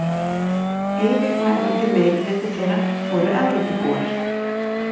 Yfirgnæfandi meirihluti þeirra voru Evrópubúar.